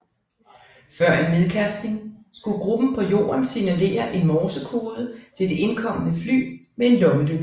Før en nedkastning skulle gruppen på jorden signalere en morsekode til det indkommende fly med en lommelygte